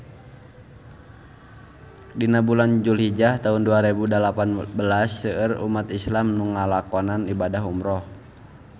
Dina bulan Julhijah taun dua rebu dalapan belas seueur umat islam nu ngalakonan ibadah umrah